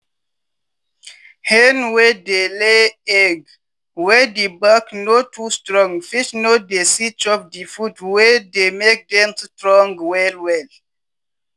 hen wey dey lay egg wey di back no too strong fit no dey see chop di food wey dey make dem strong well well.